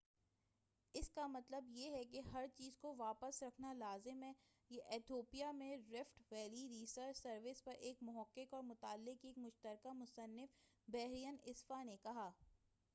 اس کا مطلب یہ ہے کہ ہر چیز کو واپس رکھنا لازم ہے یہ ایتھیوپیا میں رفٹ ویلی ریسرچ سروس پر ایک محقق اور مطالعے کے ایک مشترکہ مصنف برہین اسفاء نے کہا